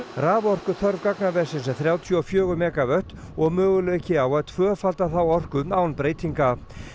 raforkuþörf gagnaversins er þrjátíu og fjögur megavött og möguleiki á að tvöfalda þá orku án breytinga